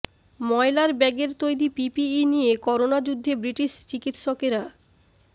ময়লার ব্যাগের তৈরি পিপিই নিয়ে করোনা যুদ্ধে ব্রিটিশ চিকিৎসকেরা